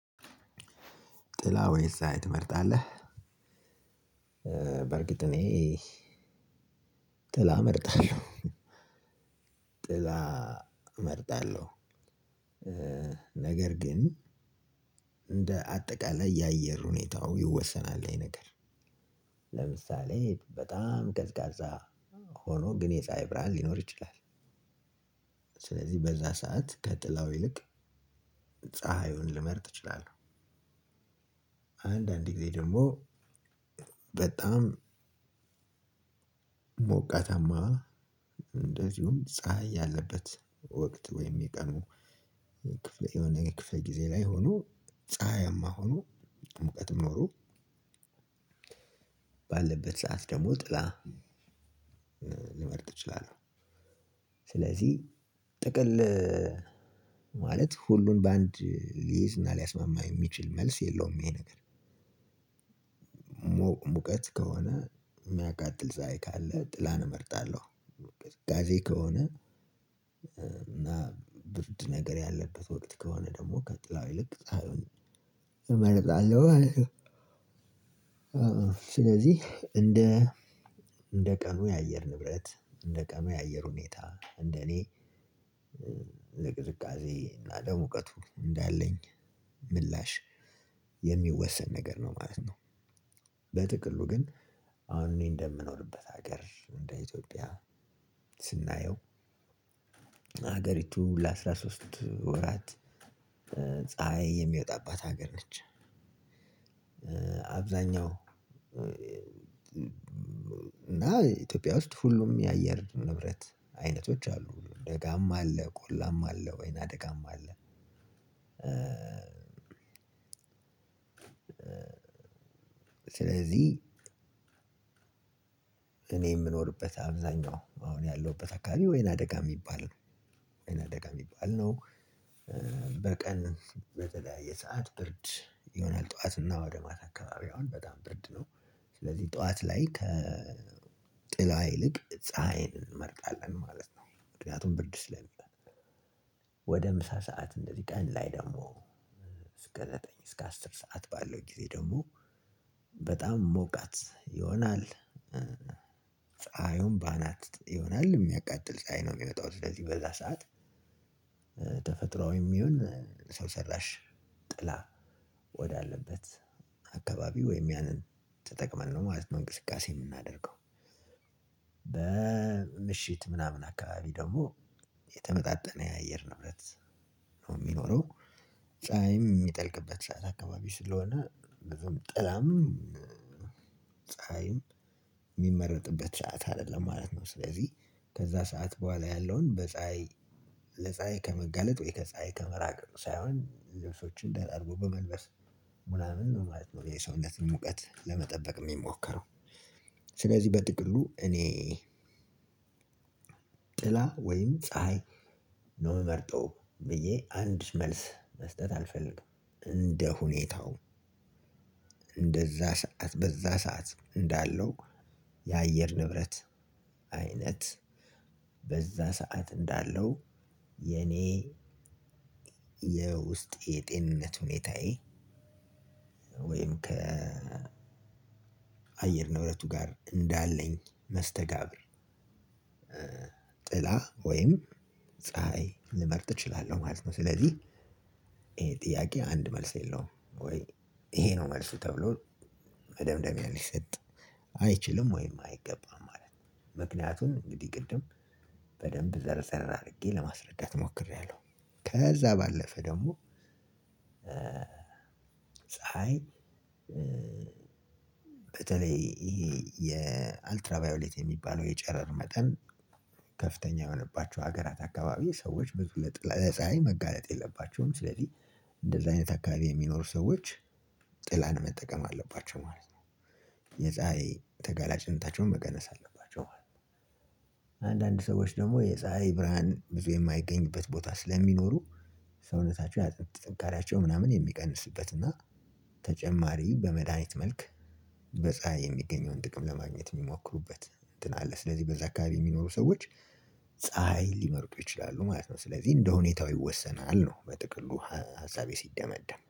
ጥላ ወይስ ፀሀይ ትመርጣለህ? በርግጥ እኔ ጥላ እመርጣለሁ ጥላ እመርጣለሁ ነገር ግን እንደ አጠቃላይ የአየር ሁኔታው ይወሰናል ያ ነገር። ለምሳሌ በጣም ቀዝቃዛ ሆኖ ግን የፀሀይ ብርሃን ሊኖር ይችላል። ሥለዚህ በዛ ሰዓት ከጥላው ይልቅ ፀሀዩን ልመርጥ እችላለሁ። አንዳንድ ጊዜ ደግሞ በጣም ሞቃታማ እንደዚሁም ፀሀይ ያለበት ወቅት ወይም የቀኑ ክፍለ የሆነ ክፍል ጊዜ ላይ ሁኖ ፀሀያማ ሁኖ ሙቀትም ኖሮ ባለበት ሰዓት ደግሞ ጥላ ልመርጥ እችላለሁ። ሥለዚህ ጥቅል ማለት ሁሉን በአንድ ሊይዝ እና ሊያስማማ የሚችል መልስ የለውም። ይሄ ነገር ሙቀት ከሆነ የሚያቃጥል ፀሀይ ካለ ጥላን እመርጣለሁ። ቅዝቃዜ ከሆነ እና ብርድ ነገር ያለበት ወቅት ከሆነ ደግሞ ከጥላው ይልቅ ፀሀይን እመርጣለሁ ማለት ነው። ሥለዚህ እንደ እንደ ቀኑ የአየር ንብረት እንደ ቀኑ የአየር ሁኔታ እንደ እኔ የቅዝቃዜ እና እንደ ሙቀቱ እንዳለኝ ምላሽ የሚወሰን ነገር ነው ማለት ነው። በጥቅሉ ግን አሁን እኔ እንደምኖርበት ሀገር እንደ ኢትዮጵያ ስናየው ሀገሪቱ ለአስራ ሶስት ወራት ፀሀይ የሚወጣባት ሀገር ነች። አብዛኛው እና ኢትዮጵያ ውስጥ ሁሉም የአየር ንብረት አይነቶች አሉ ደጋማ አለ ቆላማ አለ ወይናደጋም አለ። ሥለዚህ እኔ የምኖርበት አብዛኛው አሁን ያለሁበት አካባቢ ወይናደጋ የሚባል ነው ወይናደጋ የሚባል ነው። በቀን በተለያየ ሰዓት ብርድ ይሆናል ጠዋት እና ወደ ማታ አካባቢ አሁን በጣም ብርድ ነው። ሥለዚህ ጠዋት ላይ ከጥላ ይልቅ ፀሀይን እንመርጣለን ማለት ነው። ምክንያቱን ብርድ ስለሚሆን ወደ ምሳ ሠዓት እንደዚህ ቀን ላይ ደግሞ እስከ ዘጠኝ እስከ አስር ሠዓት ባለው ደግሞ በጣም ሞቃት ይሆናል። ፀሀዩን በአናት ይሆናል የሚያቃጥል ፀሀይ ነው የሚመጣው ሥለዚህ በዛ ሰዓት ተፈጥራዊም ይሁን ሰው ሰራሽ ጥላ ወዳለበት አካባቢ ወይም ያንን ተጠቅመን ነው ማለት ነው እንቅስቃሴ የምናደርገው። በምሽት ምናምን አካባቢ ደግሞ የተመጣጠነ የአየር ንብረት ነው የሚኖረው ፀሀይም የሚጠልቅበት ሰዓት አካባቢ ሥለሆነ ጥላም ፀሀይም የሚመረጥበት ሠዓት አይደለም ማለት ነው። ሥለዚህ ከዛ ሰዓት በኋላ ያለውን በፀሀይ ለፀሀይ ከመጋለጥ ወይ ከፀሀይ ከመራቅ ሳይሆን ልብሶችን ደራርቦ በመልበስ ምናምን ነው ማለት ነው የሰውነትን ሙቀት ለመጠበቅ የሚሞከረው። ሥለዚህ በጥቅሉ እኔ ጥላ ወይም ፀሀይ ነው የምመርጠው ብዬ አንድ መልስ መስጠት አልፈልግም። እንደ ሁኔታው እንደዛ ሰዓት በዛ ሰዓት እንዳለው የአየር ንብረት አይነት በዛ ሰዓት እንዳለው የኔ የውስጤ የጤንነት ሁኔታየ ወይም ከአየር ንብረቱጋር እንዳለኝ መስተጋብር ጥላ ወይም ፀሀይ ልመርጥ እችላለሁ ማለት ነው። ሥለዚህ ይሄ ጥያቄ አንድ መልስ የለውም ወይ ይሄ ነው መልሱ ተብሎ መደምደሚያ ሊሰጥ አይችልም ወይ አይገባም ማለት ነው። ምክንያቱም እንግዲህ ቅድም በደንብ ዘርዘር አድርጌ ለማስረዳት ሞክሬያለሁ። ከዛ ባለፈ ደግሞ ፀሀይ በተለይ ይሄ የአልትራቫዮሌት የሚባለው የጨረር መጠን ከፍተኛ የሆነባቸው ሀገራት አካባቢ ሰዎች ብዙ ለፀሀይ መጋለጥ የለባቸውም። ሥለዚህ እንደዚህ አይነት አካባቢ የሚኖሩ ሰዎች ጥላን መጠቀም አለባቸው ማለት ነው። የፀሀይ ተጋላጭንታቸውን መቀነስ አለባቸው። ማለት ነው አንዳንድ ሰዎች ደግሞ የፀሀይ ብርሃን ብዙ የማይገኝበት ቦታ ስለሚኖሩ ሰውነታቸው የአጥንት ጥንካሪያቸው ምናምን የሚቀንስበት እና ተጨማሪ በመድሃኒት መልክ በፀሀይ የሚገኘውን ጥቅም ለማግኘት የሚሞክሩበት እንትን አለ። ሥለዚህ በዛ አካባቢ የሚኖሩ ሰዎች ፀሀይ ሊመርጡ ይችላሉ ማለት ነው። ሥለዚህ እንደሁኔታው ይወሰናል ነው በጥቅሉ ሀሳቤ ሲደመደም